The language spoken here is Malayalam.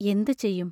എന്തു ചെയ്യും?